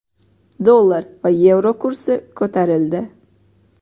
Dollar va yevro kursi ko‘tarildi.